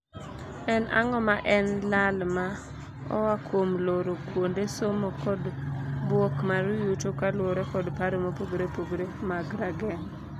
En ang'o ma en lal ma oaa kuom looro kuonde somo kod bwok mar yuto kaluore kod paro mopogore opogore mag rageng'.